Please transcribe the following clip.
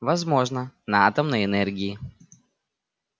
возможно на атомной энергии